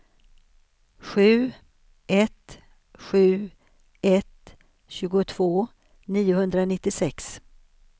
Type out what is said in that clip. sju ett sju ett tjugotvå niohundranittiosex